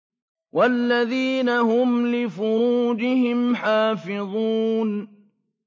وَالَّذِينَ هُمْ لِفُرُوجِهِمْ حَافِظُونَ